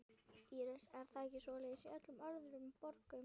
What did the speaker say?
Íris: Er það ekki svoleiðis í öllum öðrum borgum?